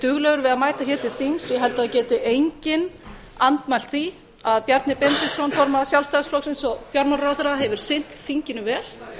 duglegur við að mæta hér til þings ég held að það geti enginn andmælt því að bjarni benediktsson formaður sjálfstæðisflokksins og fjármálaráðherra hefur sinnt þinginu vel